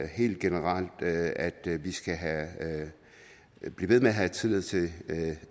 helt generelt at vi skal blive ved med at have tillid til